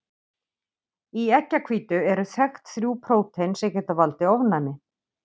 Í eggjahvítu eru þekkt þrjú prótein sem geta valdið ofnæmi.